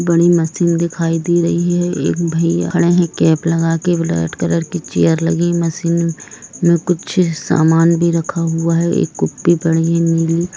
बड़ी मशीन दिखाई दे रही है एक भैया खड़े है कैप लगाकर ब्लू कलर की चेयर लगी मशीन में कुछ सामान भी रखा हुआ है एक कॉपी पड़ी है नीली--